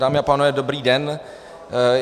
Dámy a pánové, dobrý den.